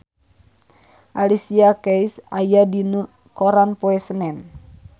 Alicia Keys aya dina koran poe Senen